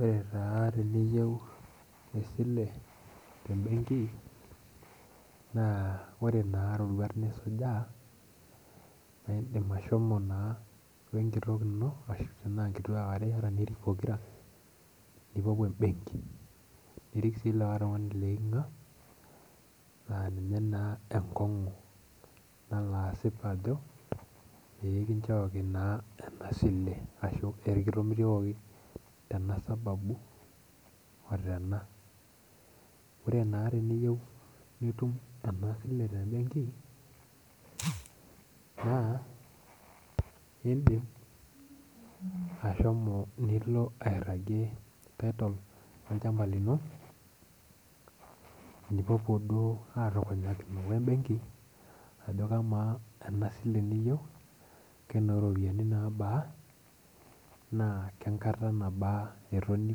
Ore taa teniyieu esile tembenki na ore roruat nisuja na indim ashomo wenkitok ino tana nkituak are iata nirik pokira nipuopuo embenki nirik na likae tingani leikinga na ninye taaa enkongu nalo asip ajo kichooki na esile ashu kitomitiokiki tenasababu ashu tena ore na teniyiwu nitum enasile tembenki na indim ashomo nilo airagie title olchamba lino nipuopuo duo atukunyakino wembenki ajo kama enasile niyieu kenoropiyani aja na kebaa enkata natoni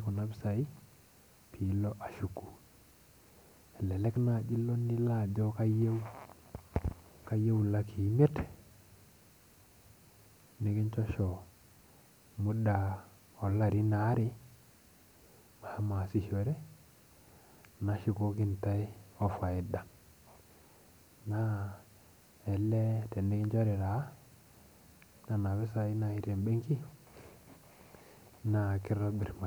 kuna pisai piko ashuku elelej nai nilo ajo kayieu lakii imiet nikinchosho muda olarin aarebmashomo ataasishore nashukoki ntae ofaida na elee tenikinchori taa nona pisai tembenki na kitobir maisha.